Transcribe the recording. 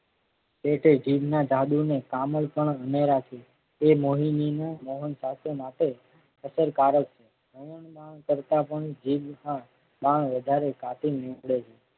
એતે જીભના જાદુ ને કામળ પણ અનેરા છે એ મોહિનીના મોહન સાત્ય નાતે અસરકારક કરતા પણ જીભ કાતિલ નીવડે છે.